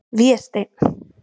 Vésteinn